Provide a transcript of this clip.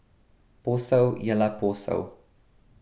Posel je le posel.